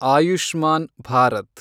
Ayushman Bharat